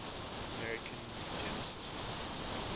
american eugenicists